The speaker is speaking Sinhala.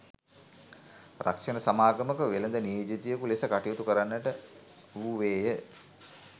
රක්ෂණ සමාගමක වෙළෙඳ නියෝජිතයකු ලෙස කටයුතු කරන්නට වූවේය